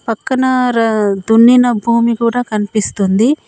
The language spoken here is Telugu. పక్కన ర దున్నిన భూమి కూడా కనిపిస్తుంది.